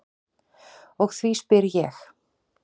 Og því spyr ég.